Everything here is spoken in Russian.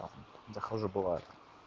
захожу бывает